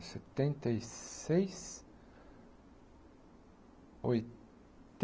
setenta e seis,